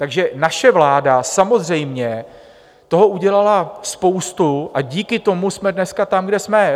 Takže naše vláda samozřejmě toho udělala spoustu a díky tomu jsme dneska tam, kde jsme.